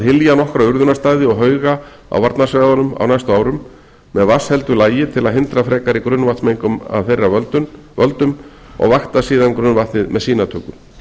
hylja nokkra urðunarstaði og hauga á varnarsvæðunum á næstu árum með vatnsheldu lagi til að hindra frekari grunnvatnsmengun af þeirra völdum og vakta síðan grunnvatnið með sýnatöku